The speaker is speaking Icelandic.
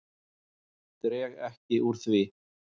Dreg ekki úr því.